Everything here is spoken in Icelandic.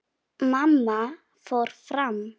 Mamma fór fram.